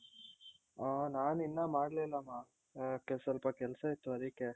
ಆ ನಾನಿನ್ನ ಮಾಡ್ಲಿಲ್ಲಾಮ್ಮ ಆ ಸ್ವಲ್ಪ ಕೆಲ್ಸ ಇತ್ತು ಅದಿಕ್ಕೆ .